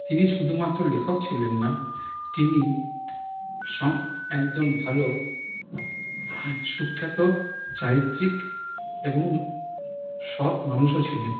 তিনি শুধু মাত্র লেখক ছিলেন না তিনি সৎ একজন ভালো সুক্ষ্যত চারিত্রিক এবং সৎ মানুষও ছিলেন।